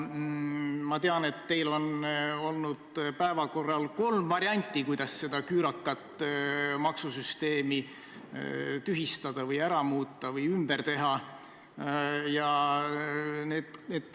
Ma tean, et teil on olnud päevakorral kolm varianti, kuidas seda küürakat maksusüsteemi tühistada või ümber teha.